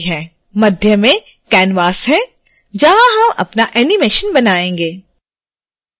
मध्य में canvas है जहाँ हम अपना animation बनायेंगे